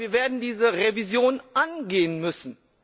Aber wir werden diese Revision angehen müssen.